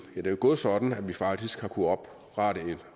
er jo gået sådan at vi faktisk har kunnet opretholde